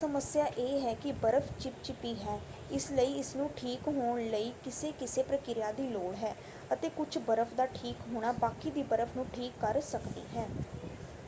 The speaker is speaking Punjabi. ਸਮੱਸਿਆ ਇਹ ਹੈ ਕਿ ਬਰਫ ਚਿਪਚਿਪੀ ਹੈ ਇਸਲਈ ਇਸਨੂੰ ਠੀਕ ਹੋਣ ਲਈ ਕਿਸੇ ਕਿਸੇ ਪ੍ਰਕਿਰਿਆ ਦੀ ਲੋੜ ਹੈ ਅਤੇ ਕੁੱਝ ਬਰਫ ਦਾ ਠੀਕ ਹੋਣਾ ਬਾਕੀ ਦੀ ਬਰਫ਼ ਨੂੰ ਠੀਕ ਕਰ ਸਕਦੀ ਹੈ।